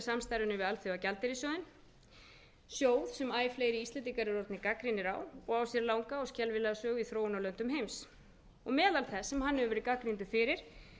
samstarfinu við alþjóðagjaldeyrissjóðinn sjóð sem æ fleiri íslendingar eru orðnir gagnrýnir á og á sér langa og skelfilega sögu í þróunarlöndum heims á meðal þess sem hann hefur verið gagnrýndur fyrir